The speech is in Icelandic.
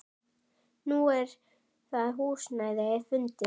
Nú er það húsnæði fundið.